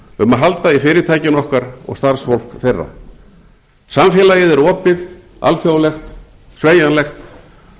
um að halda í fyrirtækin okkar og starfsfólk þeirra samfélagið er opið alþjóðlegt sveigjanlegt